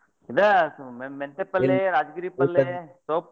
ಇದ ಮೆ~ ಮೆಂತೆ ಪಲ್ಲೆ, ರಾಜಗಿರಿ ಪಲ್ಲೆ, ಸೊಪ್ಪ್.